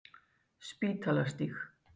Spítalastíg